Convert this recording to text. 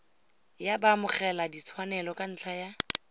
ya baamogeladitshwanelo ka ntlha ya